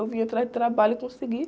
Eu vim atrás de trabalho e consegui.